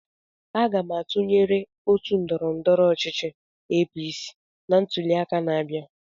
Aga m atụnyere otu ndọrọndọrọ ọchịchị APC na ntuliaka na-abịa.